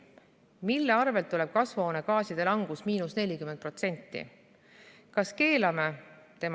Mille arvelt tuleb kasvuhoonegaaside langus -40%?